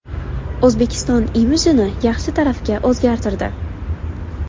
O‘zbekiston imijini yaxshi tarafga o‘zgartirdi.